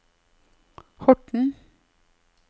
Horten